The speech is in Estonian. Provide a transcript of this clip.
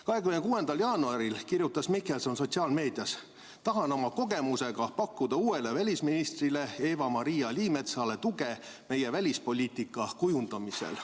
26. jaanuaril kirjutas Mihkelson sotsiaalmeedias: "Tahan oma kogemusega pakkuda uuele välisministrile Eva-Maria Liimetsale tuge meie välispoliitika kujundamisel.